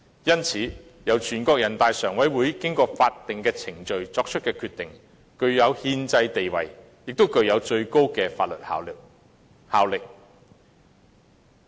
因此，由人大常委會經過法定程序作出的決定具有憲制地位，亦具有最高的法律效力。